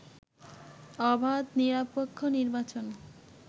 অবাধ, নিরপেক্ষ নির্বাচন